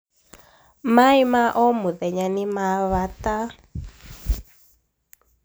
maaĩ ma omũthenya nĩ mabata